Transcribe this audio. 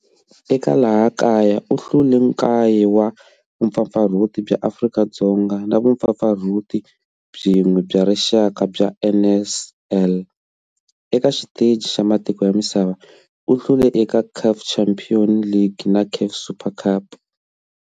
Eka laha kaya u hlule 9 wa vumpfampfarhuti bya Afrika-Dzonga na vumpfampfarhuti byin'we bya rixaka bya NSL. Eka xiteji xa matiko ya misava, u hlule eka CAF Champions League na CAF Super Cup.